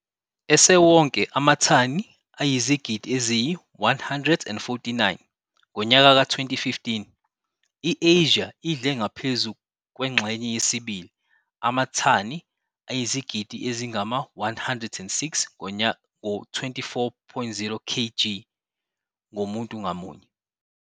Esewonke amathani ayizigidi eziyi-149 ngonyaka ka-2015, i-Asia idle ngaphezu kwengxenye yesibili, amathani ayizigidi ezingama-106 ngo-24.0 kg ngomuntu ngamunye.